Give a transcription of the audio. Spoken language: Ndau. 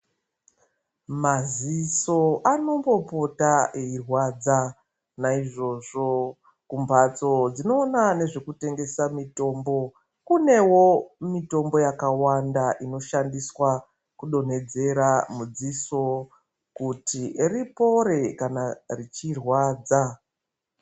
Maziso anombopota eirwadza naizvozvo kumbatso dzinoona nezvekutengesa mitombo kunewo mitombo yakawanda inoshandiswa kudonhedzera mudziso kuti ripore kana richirwadza.